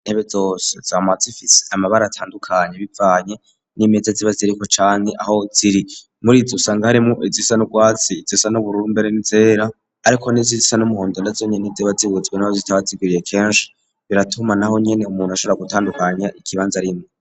intebe zose zama zifise amabara atandukanye bivanye n'imeza ziba ziriko cane aho ziri muri izi usanga harimu izisa nu bwatsi izisa nubururu mbere n'izera ariko nizisa n'umuhondonda zonyi ntiziba zibuze n'aho zitaba zigwiriye kenshi biratuma naho nyene umuntu ashobora gutandukanya ikibanza arimwo.